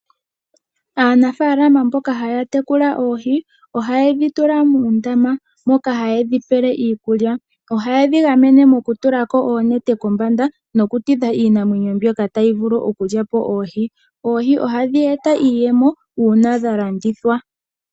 Aanafaalama mboka haya tekula oohi oha yedhi tula muundama moka hayedhi pele iikulya, oha yedhi gamene mokutulako oonete kombanda, noku tidha iinamwenyo mbyoka tayi vulu oku lyapo oohi. Oohi ohadhi eta iiyemo, uuna dha landithwa.